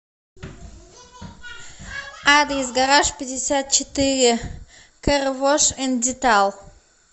адрес гаражпятьдесятчетыре кэр вош энд детал